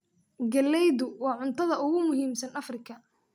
Galleydu waa cuntada ugu muhiimsan Afrika.